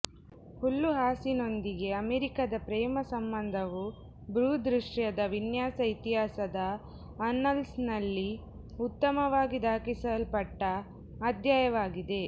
ಹುಲ್ಲುಹಾಸಿನೊಂದಿಗೆ ಅಮೆರಿಕಾದ ಪ್ರೇಮ ಸಂಬಂಧವು ಭೂದೃಶ್ಯದ ವಿನ್ಯಾಸ ಇತಿಹಾಸದ ಆನ್ನಲ್ಸ್ನಲ್ಲಿ ಉತ್ತಮವಾಗಿ ದಾಖಲಿಸಲ್ಪಟ್ಟ ಅಧ್ಯಾಯವಾಗಿದೆ